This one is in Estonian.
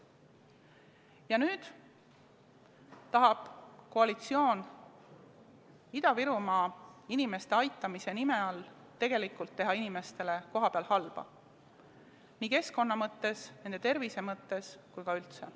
Ja nüüd tahab koalitsioon Ida-Virumaa aitamise nime all tegelikult teha kohapealsetele inimestele halba, nii keskkonna mõttes, nende tervise mõttes kui ka üldse.